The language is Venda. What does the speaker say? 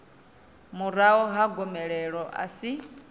murahu ha gomelelo a si